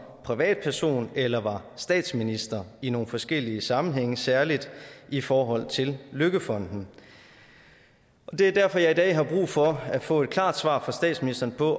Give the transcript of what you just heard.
privatperson eller var statsminister i nogle forskellige sammenhænge særlig i forhold til løkkefonden og det er derfor jeg i dag har brug for at få et klart svar fra statsministeren på